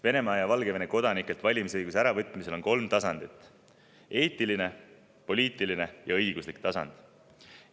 Venemaa ja Valgevene kodanikelt valimisõiguse äravõtmisel on kolm tasandit: eetiline, poliitiline ja õiguslik tasand.